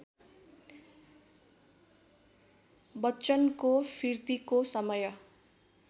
बच्चनको फिर्तीको समय